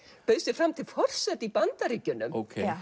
bauð sig fram til forseta í Bandaríkjunum